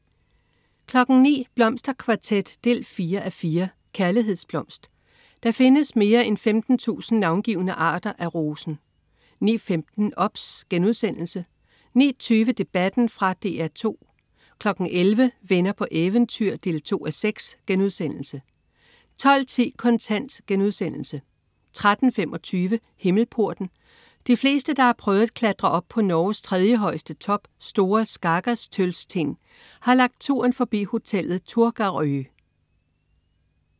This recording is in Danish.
09.00 Blomsterkvartet 4:4. Kærlighedsblomst. Der findes mere end 15.000 navngivne arter af rosen 09.15 OBS* 09.20 Debatten. Fra DR 2 11.00 Venner på eventyr 2:6* 12.10 Kontant* 13.25 Himmelporten. De fleste, der har prøvet at klatre op på Norges tredjehøjeste top, Store Skagastølstind, har lagt turen forbi hotellet Turtagrø